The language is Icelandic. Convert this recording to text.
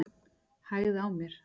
Hægði á mér.